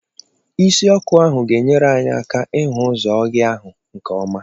Isi ọkụ ahụ ga enyere anyị aka ịhụ ụzọ ọhịa ahụ nke ọma.